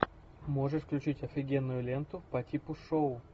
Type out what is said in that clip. можешь включить офигенную ленту по типу шоу